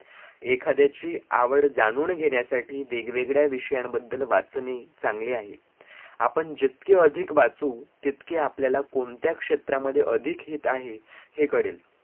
एखाद्याची आवड जाणून घेण्यासाठी वेगवेगळ्या विषयांबद्दल वाचणे चांगले आहे आपण जितके अधिक वाचू तितके आपल्याला कोणत्या क्षेत्रामध्ये अधिक हित आहे हे कळेल